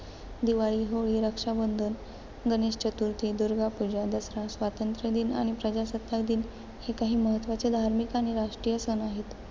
दिवाळी, होळी, रक्षाबंधन, गणेश चतुर्थी, दुर्गा पूजा, दसरा, स्वातंत्र्यदिन आणि प्रजासत्ताक दिन हे काही महत्त्वाचे धार्मिक आणि राष्ट्रीय सण आहेत.